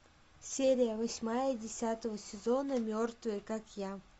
серия восьмая десятого сезона мертвые как я